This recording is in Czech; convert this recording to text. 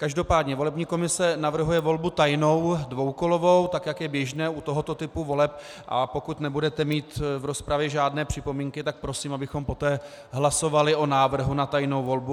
Každopádně volební komise navrhuje volbu tajnou dvoukolovou, tak jak je běžné u tohoto typu voleb, a pokud nebudete mít v rozpravě žádné připomínky, tak prosím, abychom poté hlasovali o návrhu na tajnou volbu.